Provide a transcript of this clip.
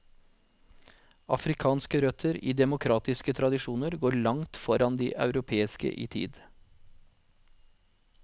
Afrikanske røtter i demokratiske tradisjoner går langt foran de europeiske i tid.